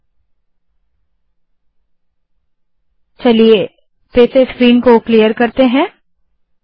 मैं फिर से स्क्रीन साफ करती हूँ